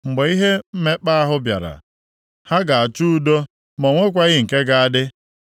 Mgbe ihe mmekpa ahụ bịara, ha ga-achọ udo ma o nweghị nke ga-adị.